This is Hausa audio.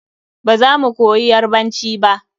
Ba za mu koyi yarbanci ba.